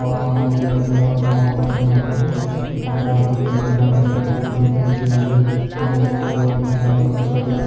आसमान में नीला नीला आसमान हो रखा है यहां पर बहोत बड़ा यहां पर फील्ड है जहां पे हुई है अभी मुझे को एक बहोत बड़ी शानदार सी गाड़ी--